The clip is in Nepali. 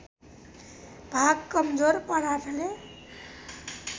भाग कमजोर पदार्थले